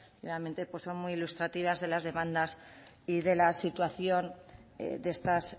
nuevamente son muy ilustrativas de las demandas y de la situación de estas